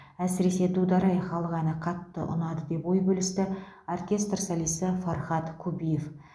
әсіресе дудар ай халық әні қатты ұнады деп ой бөлісті оркестр солисі фархат кубиев